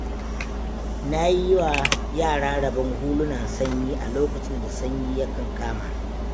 Na yiwa yara rabon hulunan sanyi a lokacin da sanyi ya kankama.